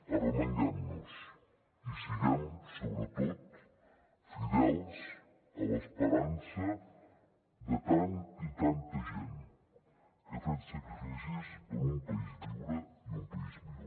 arremanguem nos i siguem sobretot fidels a l’esperança de tanta i tanta gent que ha fet sacrificis per un país lliure i un país millor